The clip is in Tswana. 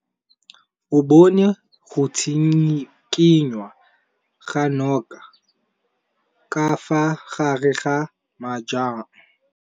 O bone go tshikinya ga noga ka fa gare ga majang.